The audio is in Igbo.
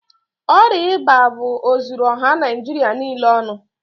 Ọrịa ịba bu ozuru ọha Naijịrị niile ọnụ.